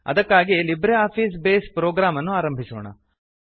ಅದಕ್ಕಾಗಿ LibreOffice base program ಅನ್ನು ಆರಂಭಿಸೋಣ